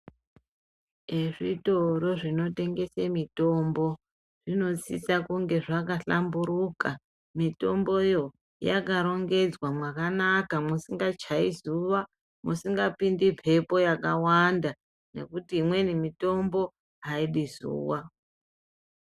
Ezvitoro zvinotengesa mitombo zvinosisa kunge zvakahlamburuka , mitimbo yoo, yakarongedzwa mwakanaka musingachai zuwa musingapindi mhepo yakawanda nekuti imweni mitombo aidi zuwa .